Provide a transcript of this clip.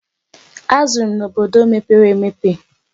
Azụrụ m n'obodo mepere emepe.